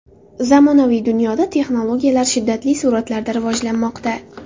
Zamonaviy dunyoda texnologiyalar shiddatli sur’atlarda rivojlanmoqda.